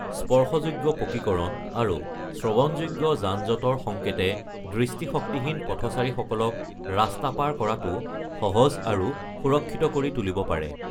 স্পৰ্শযোগ্য পকীকৰণ আৰু শ্ৰৱণযোগ্য যান-জঁটৰ সংকেতে দৃষ্টিশক্তিহীন পথচাৰীসকলক ৰাস্তা পাৰ কৰাটো সহজ আৰু সুৰক্ষিত কৰি তুলিব পাৰে।